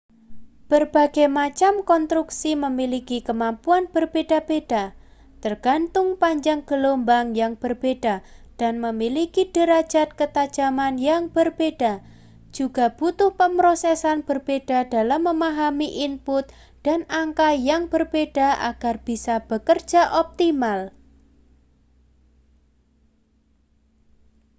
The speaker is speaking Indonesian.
berbagai macam konstruksi memiliki kemampuan berbeda-beda tergantung panjang gelombang yang berbeda dan memiliki derajat ketajaman yang berbeda juga butuh pemrosesan berbeda dalam memahami input dan angka yang berbeda agar bisa bekerja optimal